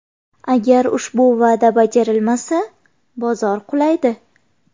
Agar ushbu va’da bajarilmasa, bozor qulaydi.